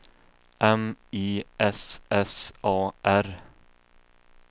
M I S S A R